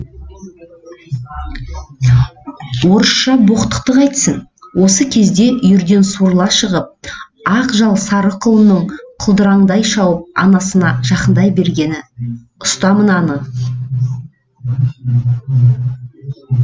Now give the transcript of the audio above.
орысша боқтықты қайтсін осы кезде үйірден суырыла шығып ақ жал сары құлынның құлдыраңдай шауып анасына жақындай бергені ұста мынаны